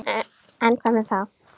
En hvað um það!